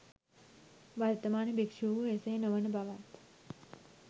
වර්තමාන භික්‍ෂූහු එසේ නොවන බවත්